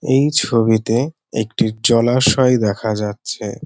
এই ছবিতে একটি জলাশয় দেখা যাচ্ছে।